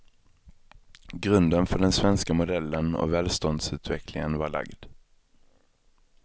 Grunden för den svenska modellen och välståndsutvecklingen var lagd.